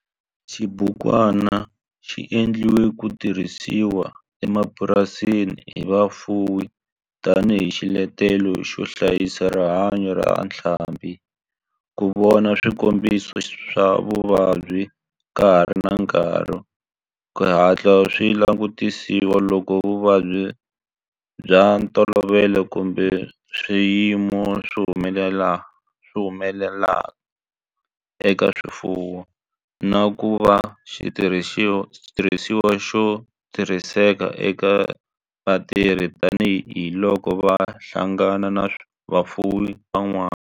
Xibukwana xi endliwe ku tirhisiwa emapurasini hi vafuwi tani hi xiletelo xo hlayisa rihanyo ra ntlhambhi, ku vona swikombiso swa vuvabyi ka ha ri na nkarhi ku hatla swi langutisiwa loko vuvabyi bya ntolovelo kumbe swiyimo swi humelela eka swifuwo, na ku va xitirhisiwa xo tirhiseka eka vatirhi tani hi loko va hlangana na vafuwi van'wana.